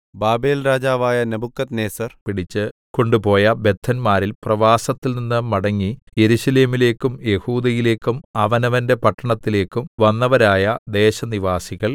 ബാബേൽരാജാവായ നെബൂഖദ്നേസർ പിടിച്ച് കൊണ്ടുപോയ ബദ്ധന്മാരിൽ പ്രവാസത്തിൽനിന്ന് മടങ്ങി യെരൂശലേമിലേയ്ക്കും യെഹൂദയിലേയ്ക്കും അവനവന്റെ പട്ടണത്തിലേക്കും വന്നവരായ ദേശനിവാസികൾ